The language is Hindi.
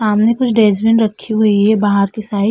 सामने कुछ डेसबीन रखी हुई है बाहर की साइ ।